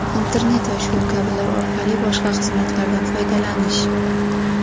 Internet va shu kabilar) orqali boshqa xizmatlardan foydalanish.